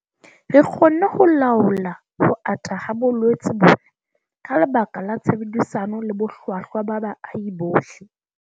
Re kgonne ho laola ho ata ha bolwetse bona ka lebaka la tshebedisano le bohlwahlwa ba baahi bohle.